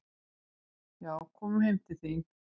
"""Já, komum heim til þín."""